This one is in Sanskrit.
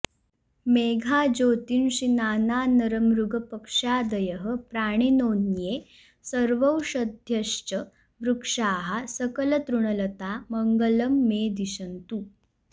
मेघा ज्योतींषिनानानरमृगपक्ष्यादयः प्राणिनोऽन्ये सर्वौषध्यश्च वृक्षाः सकलतृणलता मङ्गलं मे दिशन्तु